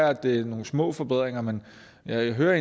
at det er nogle små forbedringer men jeg hører